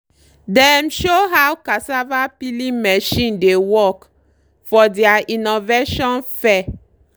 dem show how cassava peeling machine dey work for deir innovation fair.